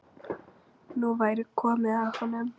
Nú væri komið að honum.